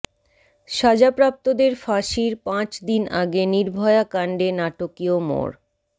সাজাপ্রাপ্তদের ফাঁসির পাঁচ দিন আগে নির্ভয়া কাণ্ডে নাটকীয় মোড়